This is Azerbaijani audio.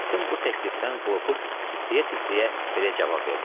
Nurəddin bu təklifdən qorxub titrəyə-titrəyə belə cavab verdi: